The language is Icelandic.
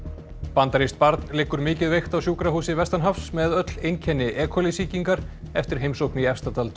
bandarískt barn liggur mikið veikt á sjúkrahúsi vestanhafs með öll einkenni e coli sýkingar eftir heimsókn í Efstadal